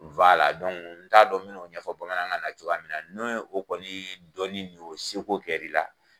a n t'a dɔn n bɛn'o ɲɛfɔ bamanankan na cogoya min na n'o ye o kɔni dɔnni n'o seko kɛra i la